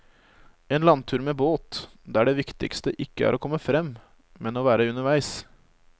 En landtur med båt, der det viktigste ikke er å komme frem, men å være underveis.